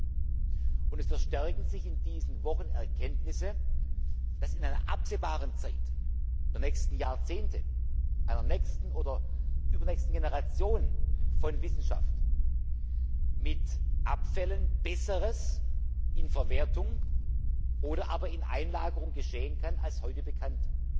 In diesen Wochen verstärken sich Erkenntnisse, dass in einer absehbaren Zeit den nächsten Jahrzehnten einer nächsten oder übernächsten Generation von Wissenschaft, mit Abfällen Besseres in Verwertung oder aber in Einlagerung geschehen kann als heute bekannt.